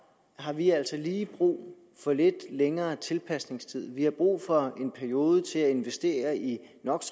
har vi altså lige brug for lidt længere tilpasningstid vi har brug for en periode til at investere i